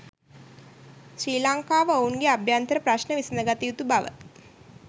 ශ්‍රී ලංකාව ඔවුන්ගේ අභ්‍යන්තර ප්‍රශ්න විසඳගත යුතු බව